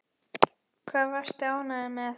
Hvað varstu ánægður með?